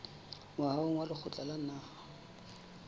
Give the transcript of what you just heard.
moahong wa lekgotla la naha